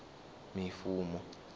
mifumo